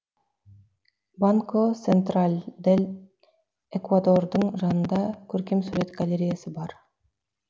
банко сентраль дел экуадордың жанында көркемсурет галереясы бар